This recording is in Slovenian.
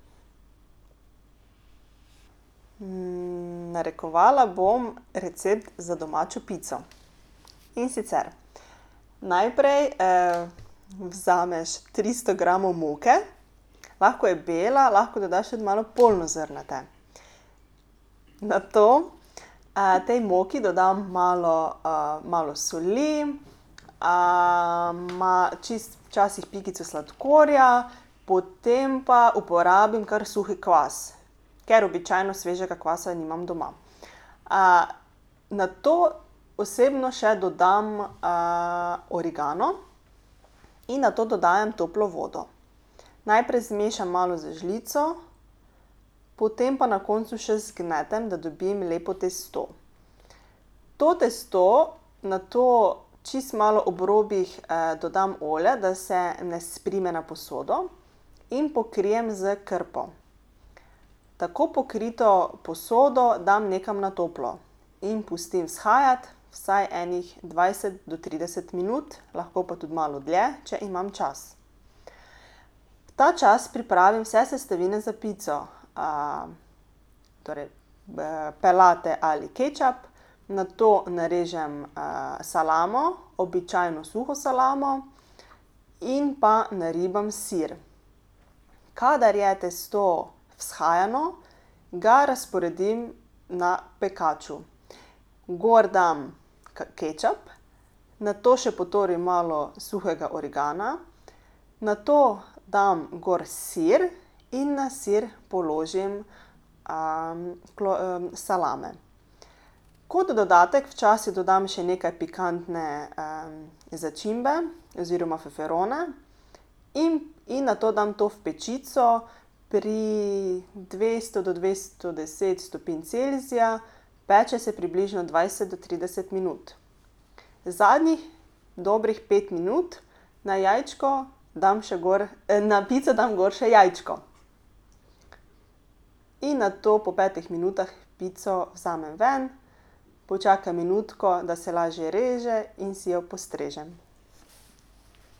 narekovala bom recept za domačo pico. In sicer: najprej, vzameš tristo gramov moke, lahko je bela, lahko dodaš še malo polnozrnate. Nato, tej moki dodam malo, malo soli, ma čisto včasih pikico sladkorja, potem pa uporabim kar suhi kvas, ker običajno svežega kvasa nimam doma. nato posebno še dodam, origano in nato dodajam toplo vodo. Najprej zmešam malo z žlico, potem pa na koncu še zgnetem, da dobim lepo testo. To testo nato čisto malo ob robovih, dodam olje, da se ne sprime na posodo, in pokrijem s krpo. Tako pokrito posodo dam nekam na toplo in pustim vzhajati vsaj enih dvajset do trideset minut, lahko pa tudi malo dlje, če imam čas. Ta čas pripravim vse sestavine za pico. torej, pelate ali kečap, nato narežem, salamo, običajno suho salamo, in pa naribam sir. Kadar je testo vzhajano, ga razporedim na pekaču. Gor dam kečap, nato še poturim malo suhega origana, nato dam gor sir in na sir položim, salame. Kot dodatek včasih dodam še nekaj pikantne, začimbe oziroma feferone in, in nato dam to v pečico, pri dvesto do dvesto deset stopinj Celzija. Peče se približno dvajset do trideset minut. Zadnjih dobrih pet minut na jajčko dam še gor, na pico dam gor še jajčko. In nato po petih minutah pico vzamem ven, počakam minutko, da se lažje reže, in si jo postrežem.